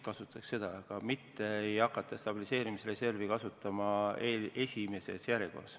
Küll aga ei hakata stabiliseerimisreservi kasutama esimeses järjekorras.